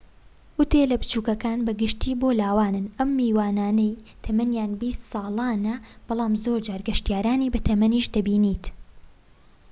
ئوتێلە بچوکەکان بە گشتی بۆ لاوانن ئەو میوانانەی تەمەنیان بیست ساڵانە بەڵام زۆرجار گەشتیارانی بەتەمەنیش دەبینیت